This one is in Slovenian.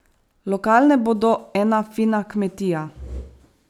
Lokalne bodo ena fina kmetija.